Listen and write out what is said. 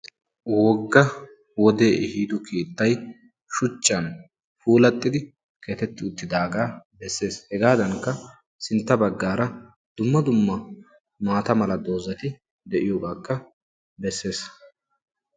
wogga wode ehido keettay shuchchani puulatidaga besessi hegadanikka sintta bagara dumma dumma maatta mala dozzati de"iyogakka besessi.